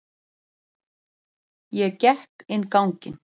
Ég gekk inn ganginn.